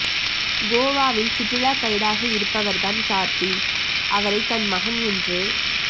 கோவாவில் சுற்றுலா கைடாக இருப்பவர் தான் கார்த்தி அவரை தன் மகன் என்று